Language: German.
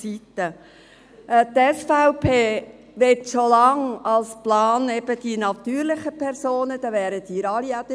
Die SVP möchte schon seit Langem die natürlichen Personen steuerlich entlasten.